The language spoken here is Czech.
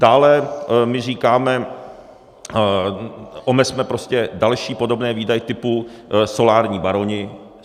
Dále my říkáme, omezme prostě další podobné výdaje typu solární baroni.